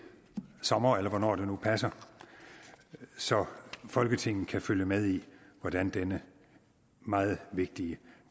sommer eller hvornår det nu passer så folketinget kan følge med i hvordan denne meget vigtige